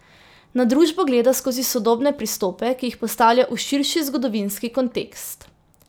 Na družbo gleda skozi sodobne pristope, ki jih postavlja v širši zgodovinski kontekst.